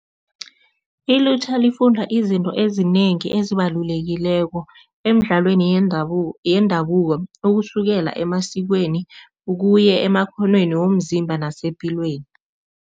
Ilutjha lifunda izinto ezinengi ezibalulekileko emidlalweni yendabuko, ukusukela emasikweni ukuya emakghonweni womzimba nepilweni.